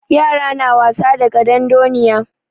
Yara na wasa da ƙadandoniya.